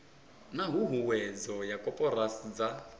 na huhuwedzo ya koporasi dza